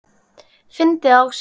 Fyndi það á sér.